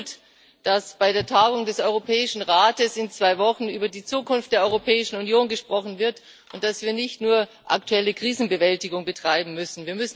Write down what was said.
Es ist gut, dass auf der Tagung des Europäischen Rates in zwei Wochen über die Zukunft der Europäischen Union gesprochen wird und dass wir nicht nur aktuelle Krisenbewältigung betreiben müssen.